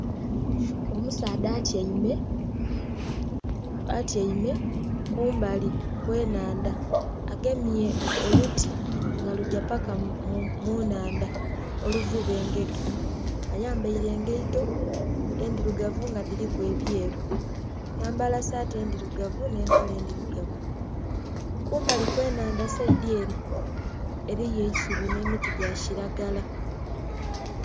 Omusaadha atyaime, atyaime kumbali kwe nhandha agemye oluti nga kugya paka mu nhandha oluvuna engege, ayambaire engaito endhirugavu nga dhiliku ebyeru yayambala saati endhirugavu nhe empale endhirugavu. Kumbali kwe nhandha saidhi ere eriyo eisubi nhe miti gya kilagala.